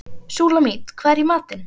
Súlamít, hvað er í matinn?